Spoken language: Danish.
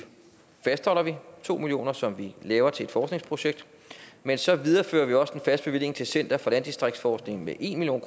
to million kr som vi har til et forskningsprojekt men så viderefører vi også en fast bevilling til center for landdistriktsforskning med en million